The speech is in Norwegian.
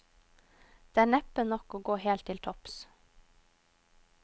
Det er neppe nok til å gå helt til topps.